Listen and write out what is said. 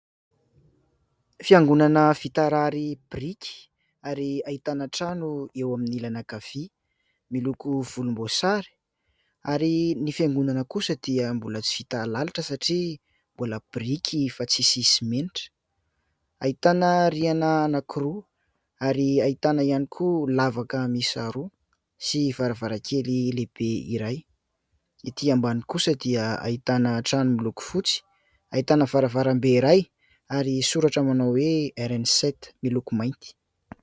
Fiangonana vita rary biriky ary ahitana trano eo amin' ny ilany ankavia miloko volombosary ary ny fiangonana kosa dia mbola tsy vita lalotra satria mbola biriky fa tsisy simenitra ; ahitana rihana anankiroa ary ahitana ihany koa lavaka miisa roa sy varavarankely lehibe iray. Ety ambany kosa dia ahitana trano miloko fotsy ahitana varavarambe iray ary soratra manao hoe RN7 miloko mainty.